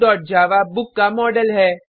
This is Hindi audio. bookजावा बुक का मॉडल है